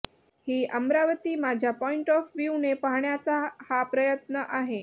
ही अमरावती माझ्या point of व्हूने पाहण्याचा हा प्रयत्न आहे